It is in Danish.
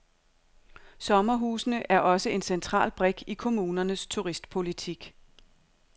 Sommerhusene er også en central brik i kommunernes turistpolitik.